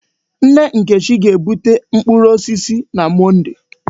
Nne Nkechi ga-bute mkpụrụ osisi na Mọnde.